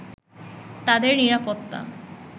তাদের নিরাপত্তা